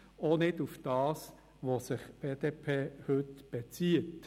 Das gilt auch für das, worauf sich die BDP heute bezieht.